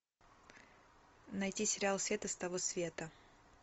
найти сериал света с того света